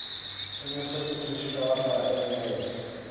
in the system described by irenaeus